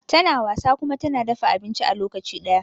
tana wasa kuma tana dafa abinci a lokacin daya